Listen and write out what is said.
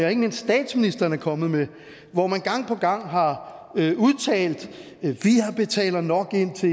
og ikke mindst statsministeren er kommet med hvor man gang på gang har udtalt vi betaler nok ind til